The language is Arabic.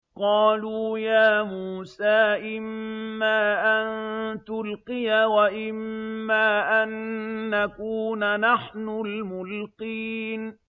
قَالُوا يَا مُوسَىٰ إِمَّا أَن تُلْقِيَ وَإِمَّا أَن نَّكُونَ نَحْنُ الْمُلْقِينَ